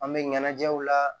An bɛ ɲɛnajɛw la